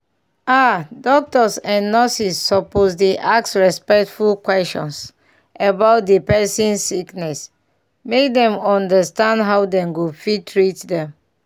ah doctors and nurses suppose dey ask respectful questions about dey person sickness make dem understand how dem go fit treat dem.